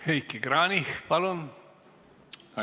Heiki Kranich, palun!